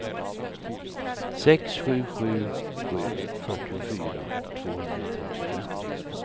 sex sju sju sju fyrtiofyra tvåhundratrettiofem